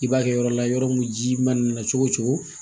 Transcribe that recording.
I b'a kɛ yɔrɔ la yɔrɔ min ji mana nana cogo o cogo